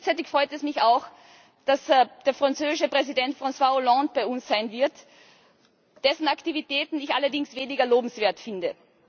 Gleichzeitig freut es mich auch, dass der französische Präsident François Hollande bei uns sein wird, dessen Aktivitäten ich allerdings weniger lobenswert finde.